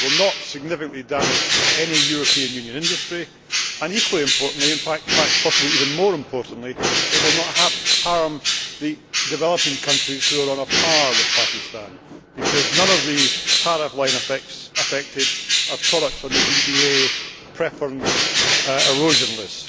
This will not significantly damage any European Union industry and, equally importantly in fact, quite possibly even more importantly it will not harm the developing countries which are on a par with Pakistan, because none of the tariff lines affect products on the DDA preference erosion list.